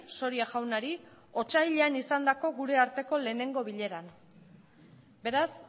soria jaunari otsailean izandako gure arteko lehenengo bileran beraz